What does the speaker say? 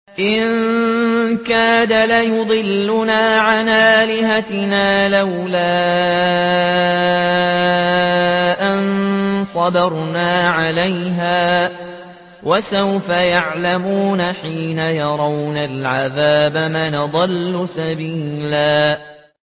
إِن كَادَ لَيُضِلُّنَا عَنْ آلِهَتِنَا لَوْلَا أَن صَبَرْنَا عَلَيْهَا ۚ وَسَوْفَ يَعْلَمُونَ حِينَ يَرَوْنَ الْعَذَابَ مَنْ أَضَلُّ سَبِيلًا